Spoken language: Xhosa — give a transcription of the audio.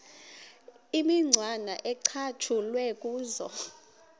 imicwana ecatshulwe kuzo